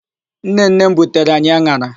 Nnenne m butere anyị an̄ara.